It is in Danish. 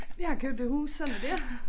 Jeg har købt et hus sådan er det